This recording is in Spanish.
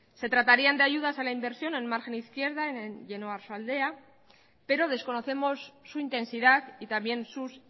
se tratarían de ayudas a la inversión en margen izquierda y en oiartzualdea pero desconocemos su intensidad y también sus